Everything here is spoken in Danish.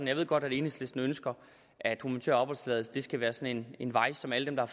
jeg ved godt at enhedslisten ønsker at humanitær opholdstilladelse skal være sådan en vej som alle der